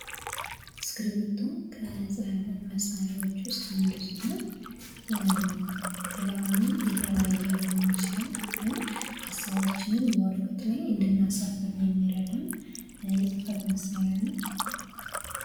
እስክርቢቶ ከፅህፈት መሳሪያዎች ዉስጥ አንዱ ሲሆን ቀለሙ የተለያየ ሊሆን ይችላል፤ ግን ሀሳባችንን ወረቀት ላይ እንድናሰፍር የሚረዳን የፅህፈት መሳሪያ ነዉ።